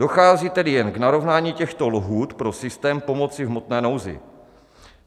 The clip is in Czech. Dochází tedy jen k narovnání těchto lhůt pro systém pomoci v hmotné nouzi.